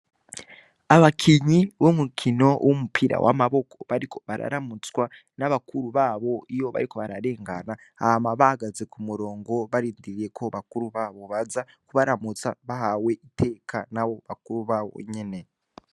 Abakinyi b'umukino w'umupira w'amaboko bariko bararamutswa na bakuru babo iyo bariko bararengana, hama bahagaze ku murongo barindiriye ko bakuru babo baza kubaramutsa, bahawe iteka n'abo bakuru babo nyene.